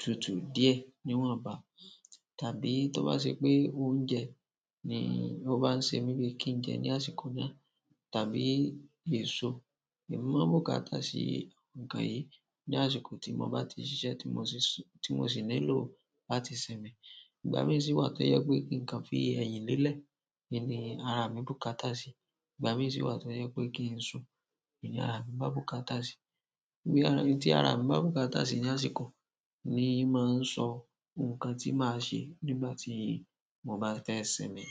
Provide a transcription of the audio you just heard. tutu díẹ̀ níwọ̀nba. Tàbí tó bá ṣe pé oúnjẹ ni ó bá ń ṣe mí bíi kí n jẹ ní àsìkò náà, tàbí èso, èmi máa n bùkátá sí ǹnkan yìí ní àsìkò tí mo bá ti ṣiṣẹ́ tí mo sì, tí mo sì nílò láti sinmi. Ìgbà mií sì wà tó jẹ pé kí ǹ kan fi ẹyìn lélẹ̀, ni ara mi bùkátá sí, ìgbà míi sì wà tó jẹ pé kí n sùn ni ara mi bá bùkátá sí. Nǹkan ara mi bá bùkátá sí ní àsìkò, ni mó ń sọ ǹnkan tí màá ṣe nígbà tí mo bá fẹ sinmi.